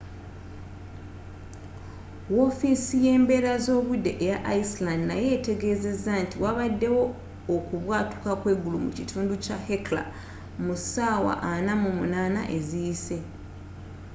wofiisi yembeera zobudde eya iceland nayo yategezeza nti wabaddewo okubwatuka kweggulu mu kitundu kya hekla mu ssaawa 48 eziyise